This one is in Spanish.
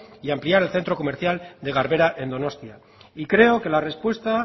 y ampliar el centro comercial de garbera en donostia y creo que la respuesta